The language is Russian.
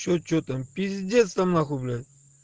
что что там пиздец там нахуй блять